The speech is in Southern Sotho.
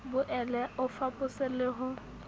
boele o fapose le ho